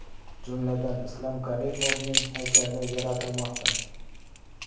Jumladan, Islom Karimovning haykali yaratilmoqda.